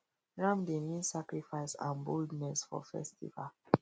ram dey mean sacrifice and boldness for festival